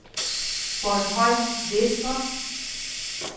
Bornholm Vestre